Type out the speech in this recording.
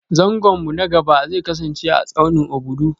Zangon mu na gaba zai kasance a tsaunin Obudu